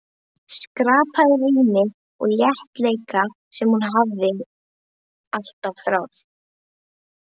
Skapaði rými og léttleika sem hún hafði alltaf þráð.